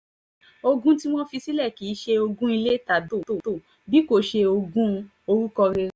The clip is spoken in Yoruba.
ogun tí wọ́n fi sílẹ̀ kì í ṣe ogún ilé tàbí mọ́tò bí kò ṣe ogún orúkọ rere